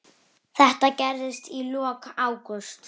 Þetta gerðist í lok ágúst.